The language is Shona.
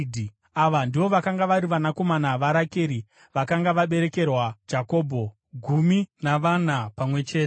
Ava ndivo vakanga vari vanakomana vaRakeri vakanga vaberekerwa Jakobho, gumi navana pamwe chete.